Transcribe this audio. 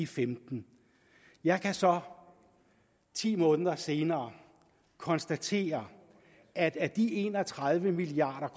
femten jeg kan så ti måneder senere konstatere at af de en og tredive milliard